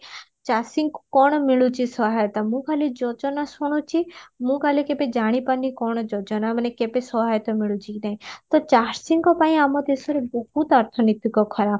ଚାଷୀଙ୍କୁ କଣ ମିଳୁଚି ସହାୟତା ମୁଁ ଖାଲି ଯୋଜନା ଶୁଣୁଚି ମୁଁ ଖାଲି କେବେ ଜାଣିପାରୁନି କଣ ଯୋଜନା ମାନେ କେବେ ସହାୟତା ମିଳୁଚି କି ନାହି ତ ଚାଷୀଙ୍କ ପାଇଁ ଆମ ଦେଶରେ ବହୁତ ଅର୍ଥନୀତିକ ଖରାପ